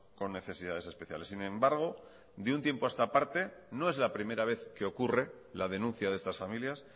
con necesidades especiales sin embargo de un tiempo a esta parte no es la primera vez que ocurre la denuncia de estas familias